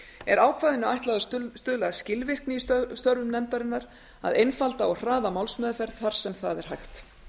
er ákvæðinu ætlað að stuðla að skilvirkni í störfum nefndarinnar að einfalda og hraða málsmeðferð þar sem það er hægt